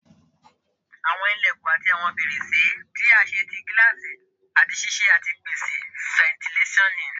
Awọn ilẹkun ati awọn ferese ti a ṣe ti gilasi ati ṣiṣẹ ati pese fentilesonu